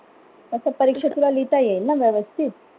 असं परीक्षेत तुला लिहिता येईल ना व्यवस्थित